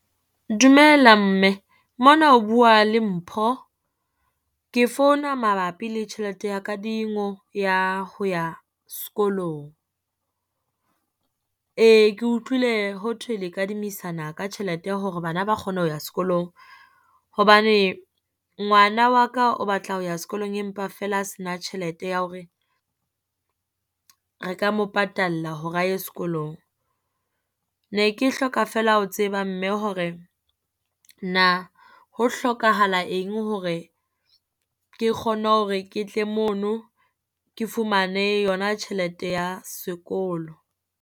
Dumela mme, mona o bua le Mpho. Ke founa mabapi le tjhelete ya kadingo ya ho ya sekolong. Ee ke utlwile ho thwe le kadimisana ka tjhelete hore bana ba kgone ho ya sekolong. Hobane ngwana wa ka o batla ho ya sekolong empa feela a se na tjhelete ya hore re ka mo patalla hore a ye sekolong. Ne ke hloka feela ho tseba mme hore na ho hlokahala eng hore ke kgone hore ke tle mono, ke fumane yona tjhelete ya sekolo.